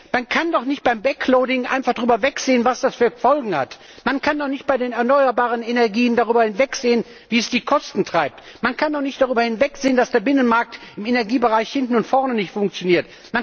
Man kann doch nicht beim backloading einfach darüber hinwegsehen, was das für Folgen hat. Man kann doch nicht bei den erneuerbaren Energien darüber hinwegsehen, wie sie die Kosten in die Höhe treiben. Man kann doch nicht darüber hinwegsehen, dass der Binnenmarkt im Energiebereich hinten und vorne nicht funktioniert.